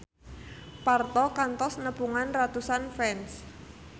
Parto kantos nepungan ratusan fans